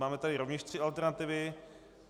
Máme tady rovněž tři alternativy.